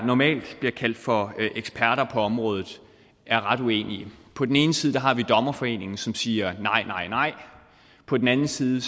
normalt bliver kaldt for eksperter på området er ret uenige på den ene side har vi dommerforeningen som siger nej nej nej på den anden side